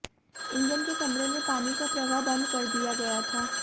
engine के कमरे में पानी का प्रवाह बंद कर दिया गया था